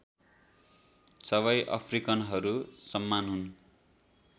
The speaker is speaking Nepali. सबै अफ्रिकनहरु समान हुनु